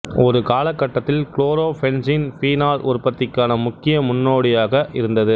ஒரு காலகட்டத்தில் chlorobenzene phenol உற்பத்திக்கான முக்கிய முன்னோடியாக இருந்தது